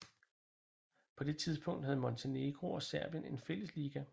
På det tidspunkt havde Montenegro og Serbien en fælles liga